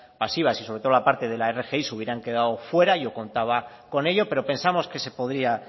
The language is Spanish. pasivas y sobre todo la parte de la rgi se hubieran quedado fuera yo contaba con ello pero pensamos que se podría